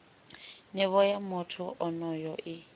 nivho ya muthu onoyo i